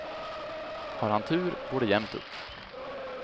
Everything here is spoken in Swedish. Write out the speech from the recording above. Har han tur går det jämnt upp.